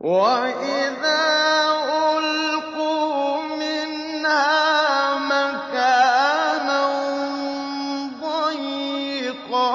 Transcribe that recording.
وَإِذَا أُلْقُوا مِنْهَا مَكَانًا ضَيِّقًا